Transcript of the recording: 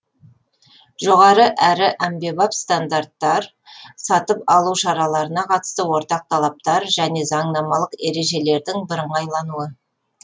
жоғары әрі әмбебап стандаттар сатып алу шараларына қатысты ортақ талаптар және заңнамалық ережелердің бірыңғайлануы